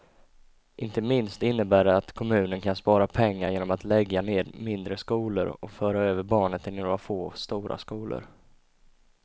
Inte minst innebär det att kommunen kan spara pengar genom att lägga ned mindre skolor och föra över barnen till några få stora skolor.